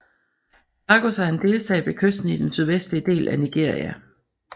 Lagos er en delstat ved kysten i den sydvestlige del af Nigeria